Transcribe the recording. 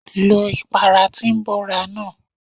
Lo ìpara tí ń bóra náà.!